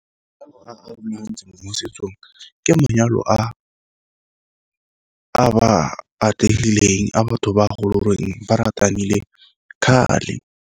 ke manyalo a ba atlegileng, a batho ba a go leng goreng ba ratanile kgale.